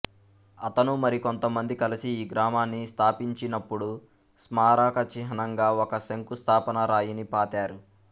అతను మరికొంతమంది కలిసి ఈ గ్రామాన్ని స్థాపించినపుడు స్మారకచిహ్నంగా ఒక శంకుస్థాపన రాయిని పాతారు